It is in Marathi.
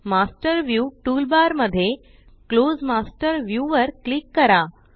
मास्टर व्ह्यू टूलबार मध्ये क्लोज मास्टर व्ह्यू वर क्लिक करा